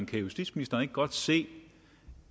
kan justitsministeren ikke godt se